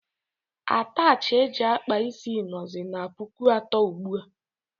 Atachi eji akpa isi nọzi n' pụkụ atọ ugbua.